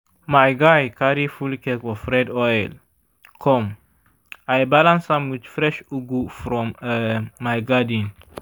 my guy carry full keg of red oil come i balance am with fresh ugu from um my garden.